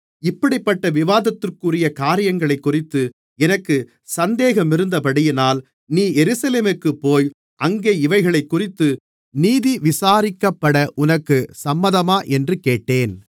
இப்படிப்பட்ட விவாதத்திற்குரிய காரியங்களைக்குறித்து எனக்குச் சந்தேகமிருந்தபடியினால் நீ எருசலேமுக்குப்போய் அங்கே இவைகளைக்குறித்து நீதி விசாரிக்கப்பட உனக்குச் சம்மதமா என்று கேட்டேன்